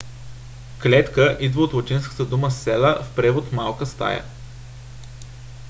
клетка идва от латинската дума cella в превод малка стая